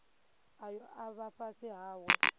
ayo a vha fhasi hawe